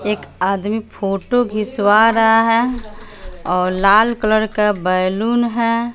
एक आदमी फोटो खिंचवा रहा है और लाल कलर का बैलून है।